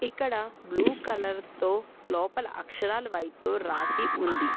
ఇక్కడ blue colour తో లోపల అక్షరాలు వైట్ తో రాసి ఉంది.